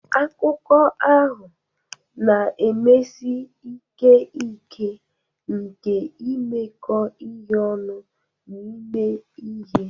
Akụkọ ahụ na-emesi ike ike nke imekọ ihe ọnụ na ime ihe.